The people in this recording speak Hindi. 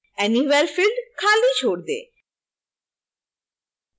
anywhere field खाली छोड़ दें